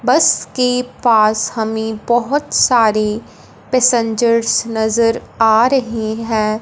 बस के पास हमें बहुत सारे पैसेंजर्स नजर आ रहे हैं।